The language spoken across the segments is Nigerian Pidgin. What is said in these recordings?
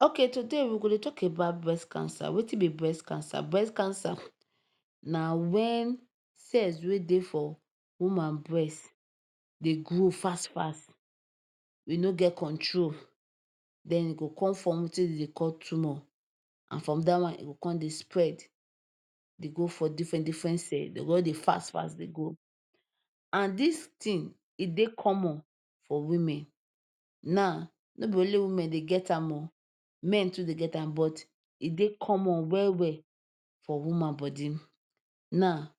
Okay today we go dey talk about breast cancer. Wetin be breast cancer? Breast cancer na when cells wey dey for woman breast dey grow fast fast. wey no get control. De go con form wetin de dey call tumour. And from dat one, e go con dey spread dey go for different different cell. De o just dey fast fast dey go. And dis thing, e dey common for women. Now, no be only women dey get am oh. Men too dey get am but e dey common well well for woman body. Now,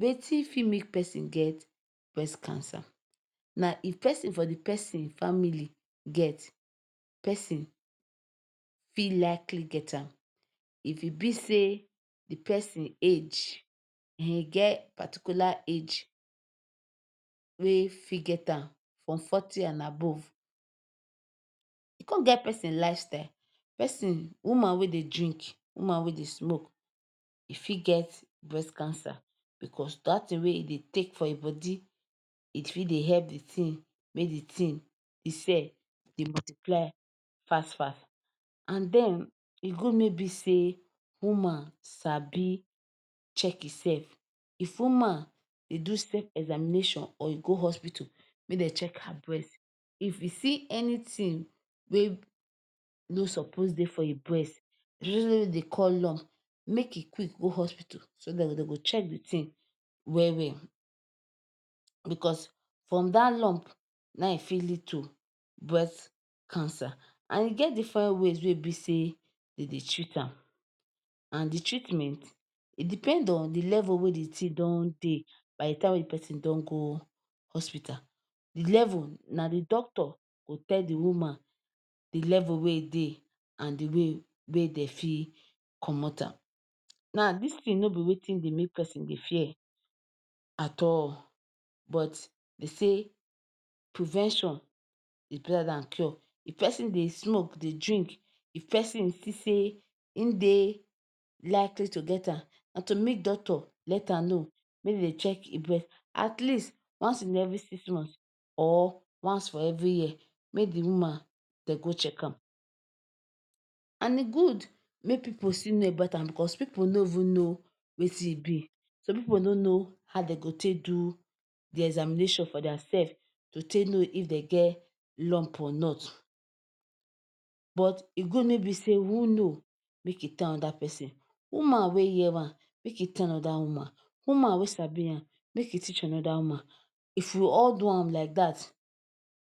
wetin fit make pesin get breast cancer? Na if person for the person family get, pesin fit likely get am. If e be sey the pesin age um e get particular age wey fit get am, from forty and above. E con get person lifestyle. Person woman wey dey drink, woman wey dey smoke, e fit get breast cancer because dat thing wey e dey take for e body, it fit dey help the thing, make the thing the cell dey multiple fast fast. And den, e good mey e be sey woman sabi check e self. If woman dey do self-examination or e go hospital make de check her breast. If you see anything wey no suppose dey for e breast, the one wey de dey call lump make e quick go hospital. So dat de go check the thing well well because from dat lump na im e fit lead to breast cancer. And e get different ways wey e be sey, de dey treat am. And the treatment, e depend on the level wey the thing don dey by the time wey the pesin don go hospital. The level, na the doctor go tell the woman the level wey e dey and the way wey de fit comot am. Now, dis thing no be wetin dey make pesin dey fear at all but de say prevention is better dan cure. If pesin dey smoke, dey drink, if pesin see sey e dey likely to get am, na to meet doctor let am know. Make de check e breast at least in a month or every six month or once for every year. Make the woman de go check am. And e good make pipu still know about am because people no even know wetin e be. Some pipu no know how de go take do the examination for their self to take know if de get lump or not. But e good mey be sey who know make e tell another pesin. Woman wey hear am, make e tell another woman, woman wey sabi am, make e teach another woman. If we all do am like dat,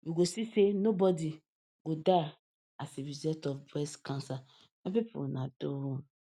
we go see sey nobody go die as a result of breast cancer. My people una Weldon